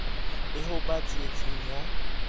le ho ba tsietseng ya